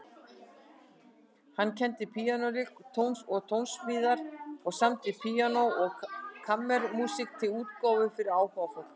Hann kenndi píanóleik og tónsmíðar og samdi píanó- og kammermúsík til útgáfu fyrir áhugafólk.